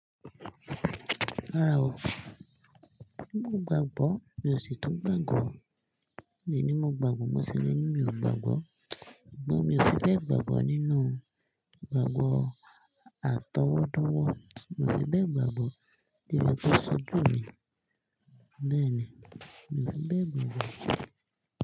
Rárá o, mo gbàgbó, mi ò sì tún gbàgbó. Mi ò ní mo gbàgbó, mo ṣẹlẹ̀ ní mi ò gbàgbó. Ṣùgbọ́n mi ò fi bẹ gbàgbó nínú gbàgbó àtọwọ́dọ́wọ́, mo fi bẹ gbàgbó tí wọn tó ṣojú mi, bẹ́ẹ̀ ni, mi ò fi bẹ gbàgbó.